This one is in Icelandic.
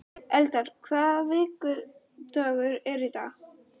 Eldar, hvaða vikudagur er í dag?